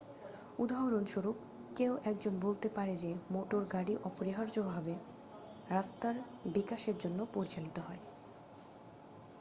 উদাহরণস্বরূপ কেউ একজন বলতে পারে যে মোটর গাড়ি অপরিহার্যভাবে রাস্তার বিকাশের জন্য পরিচালিত হয়